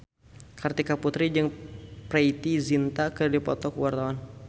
Kartika Putri jeung Preity Zinta keur dipoto ku wartawan